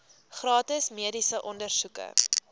gratis mediese ondersoeke